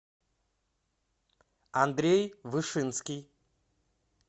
андрей вышинский